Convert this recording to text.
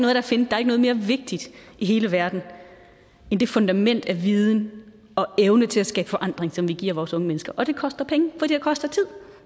noget mere vigtigt i hele verden end det fundament af viden og evne til at skabe forandring som vi giver vores unge mennesker det koster penge det koster tid